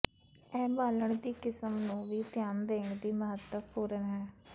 ਇਹ ਬਾਲਣ ਦੀ ਕਿਸਮ ਨੂੰ ਵੀ ਧਿਆਨ ਦੇਣ ਦੀ ਮਹੱਤਵਪੂਰਨ ਹੈ